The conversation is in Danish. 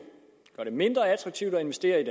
gør det mindre attraktivt at investere i